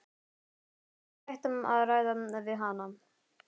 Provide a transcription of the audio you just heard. Allt var hægt að ræða við hana.